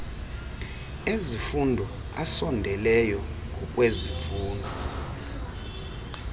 ezifundo asondeleyo ngokwezifundo